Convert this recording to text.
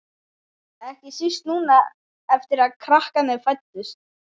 Ekki síst núna eftir að krakkarnir fæddust.